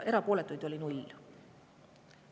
Erapooletuid oli 0.